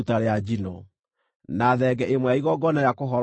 na thenge ĩmwe ya igongona rĩa kũhoroherio mehia;